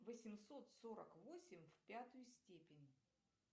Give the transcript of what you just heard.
восемьсот сорок восемь в пятую степень